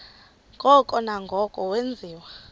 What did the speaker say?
ngoko nangoko wenziwa